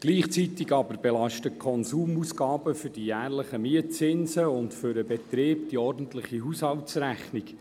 Gleichzeitig belasten die Konsumausgaben für die jährlichen Mietzinsen und den Betrieb die ordentliche Haushaltsrechnung.